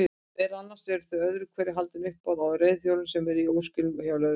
Meðal annars eru öðru hverju haldin uppboð á reiðhjólum sem eru í óskilum hjá lögreglunni.